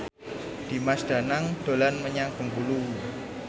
Dimas Danang dolan menyang Bengkulu